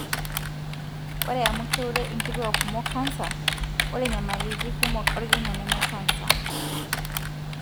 ore amu keure inkituak kumok canser, ore nyamaliti kumok olkina nemecanser,